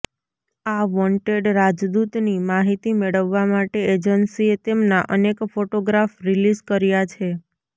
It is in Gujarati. આ વોન્ટેડ રાજદૂતની માહિતી મેળવવા માટે એજન્સીએ તેમના અનેક ફોટોગ્રાફ રિલીઝ કર્યા છે